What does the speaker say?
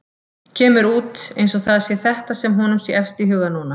Kemur út eins og það sé þetta sem honum sé efst í huga núna.